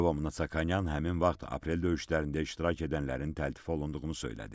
Lyobomnonyan həmin vaxt aprel döyüşlərində iştirak edənlərin təltif olunduğunu söylədi.